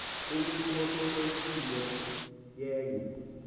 umntu oseletyiwe yenye